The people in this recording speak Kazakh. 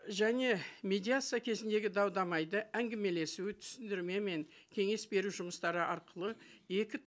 және медиация кезіндегі дау дамайды әңгімелесуі түсіндірме мен кеңес беру жұмыстары арқылы екі